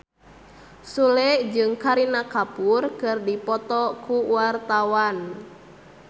Sule jeung Kareena Kapoor keur dipoto ku wartawan